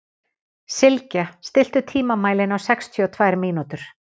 Sylgja, stilltu tímamælinn á sextíu og tvær mínútur.